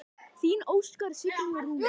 Þín Óskar, Signý og Rúnar.